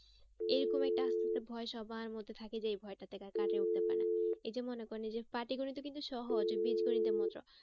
এরকম একটা আস্তে আস্তে ভয় সবার মধ্যে থাকে যে এই ভয়টার থেকে আর কাটিয়ে উঠতে পারে না। এই যে মনে করেন এই যে পাটিগণিত ও কিন্তু সহজ বীজগণিতের মতো